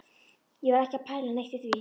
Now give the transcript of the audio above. Ég var ekki að pæla neitt í því.